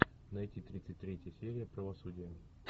найти тридцать третья серия правосудие